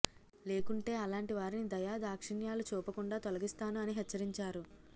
లేకుంటే అలాంటి వారిని దయా దాక్షిణ్యలు చూపకుండా తొలగిస్తాను అని హెచ్చరించారు